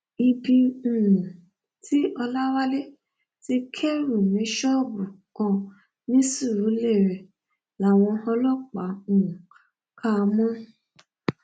ibi um tí ọlọwálé ti kẹrù ní ṣọ́ọ̀bù kan ní surulere làwọn ọlọpàá um kà á mọ